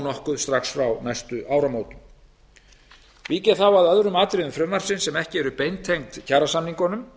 nokkuð strax frá næstu áramótum vík ég þá að öðrum atriðum frumvarpsins sem ekki eru beintengd kjarasamningunum